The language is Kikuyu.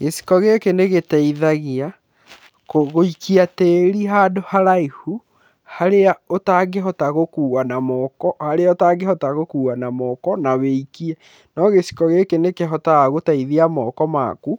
Gĩciko gĩkĩ nĩ gĩteithagia gũikia tĩĩri handũ haraihu harĩa ũtangĩhota gũkua na moko, harĩa ũtangĩhota gũkua na moko na wĩikie no gĩciko gĩkĩ nĩ kĩhotaga gũteithia moko maku